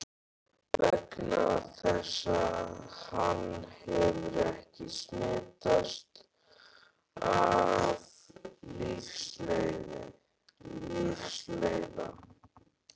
Vegna þess að hann hefur ekki smitast af lífsleiða.